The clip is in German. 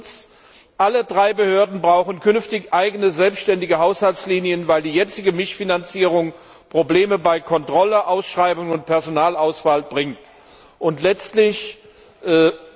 Viertens Alle drei Behörden brauchen künftig eigene selbstständige Haushaltslinien, weil die jetzige Mischfinanzierung Probleme bei Kontrolle, Ausschreibungen und Personalauswahl aufwirft.